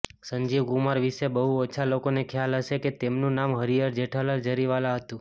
સંજીવ કુમાર વિશે બહુ ઓછા લોકોને ખ્યાલ હશે કે તેમનું નામ હરિહર જેઠાલાલ જરીવાલા હતું